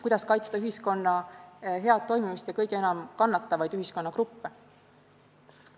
Kuidas kaitsta ühiskonna head toimimist ja kõige enam kannatavaid ühiskonnagruppe?